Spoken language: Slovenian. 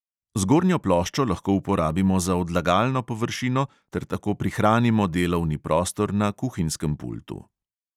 Zgornjo ploščo lahko uporabimo za odlagalno površino ter tako prihranimo delovni prostor na kuhinjskem pultu.